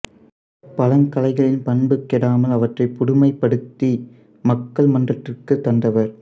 பழங்கலைகளின் பண்பு கெடாமல் அவற்றைப் புதுமைப்படுத்தி மக்கள் மன்றத்திற்குத் தந்தவர்